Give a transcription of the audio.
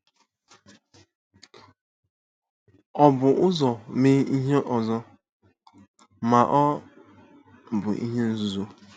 O bu ụzọ mee ihe ọzọ, ma ọ bụ ihe nzuzo.